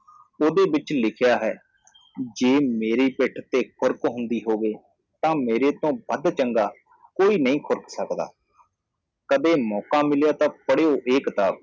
ਓਹਦੇ ਵਿਚ ਲਿਖਿਆ ਹੈ ਜੇ ਮੇਰੀ ਪਿੱਠ ਤੇ ਖੁਰਕ ਹੁੰਦੀ ਹੋਵੇ ਤਾਂ ਮੇਰੇ ਤੋਂ ਵੱਧ ਚੰਗਾ ਕੋਈ ਨਹੀ ਖੁਰਕ ਸਕਦਾ ਕਦੇ ਮੌਕਾ ਮਿਲਿਆ ਤਾਂ ਪੜ੍ਹਿਓ ਇਹ ਕਿਤਾਬ